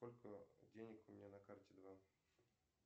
сколько денег у меня на карте два